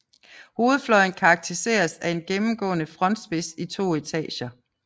Hovedfløjen karakteriseres af en gennemgående frontspids i to etager